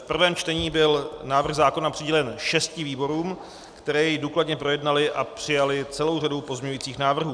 V prvém čtení byl návrh zákona přidělen šesti výborům, které jej důkladně projednaly a přijaly celou řadu pozměňovacích návrhů.